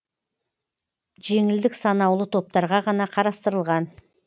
жеңілдік санаулы топтарға ғана қарастырылған